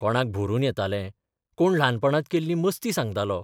कोणाक भरून येतालें, कोण ल्हानपणांत केल्ली मस्ती सांगतालो.